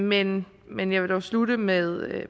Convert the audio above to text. men men jeg vil dog slutte med